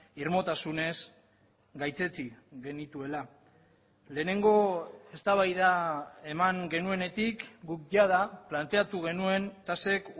irmotasunez gaitzetsi genituela lehenengo eztabaida eman genuenetik guk jada planteatu genuen tasek